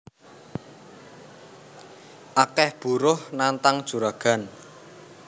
Akeh buruh nantang juragan